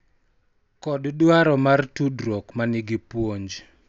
Kod dwaro mar tudruok ma nigi puonj,